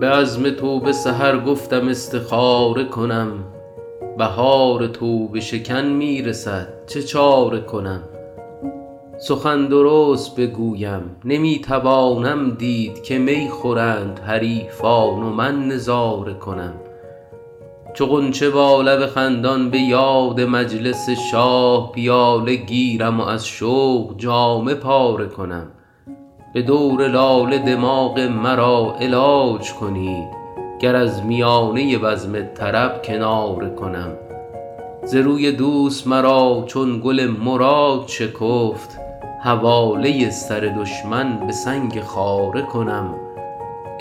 به عزم توبه سحر گفتم استخاره کنم بهار توبه شکن می رسد چه چاره کنم سخن درست بگویم نمی توانم دید که می خورند حریفان و من نظاره کنم چو غنچه با لب خندان به یاد مجلس شاه پیاله گیرم و از شوق جامه پاره کنم به دور لاله دماغ مرا علاج کنید گر از میانه بزم طرب کناره کنم ز روی دوست مرا چون گل مراد شکفت حواله سر دشمن به سنگ خاره کنم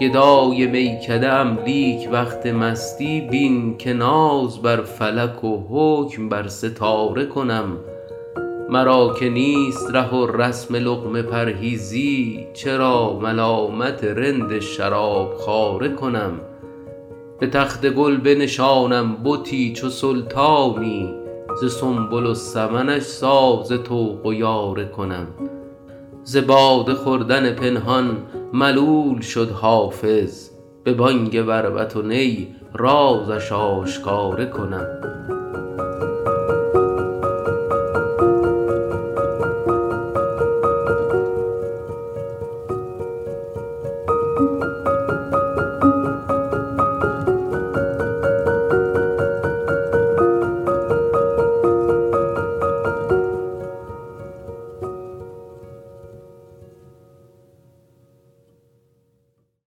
گدای میکده ام لیک وقت مستی بین که ناز بر فلک و حکم بر ستاره کنم مرا که نیست ره و رسم لقمه پرهیزی چرا ملامت رند شراب خواره کنم به تخت گل بنشانم بتی چو سلطانی ز سنبل و سمنش ساز طوق و یاره کنم ز باده خوردن پنهان ملول شد حافظ به بانگ بربط و نی رازش آشکاره کنم